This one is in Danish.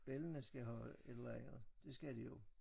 Bellana skal have et eller andet det skal de jo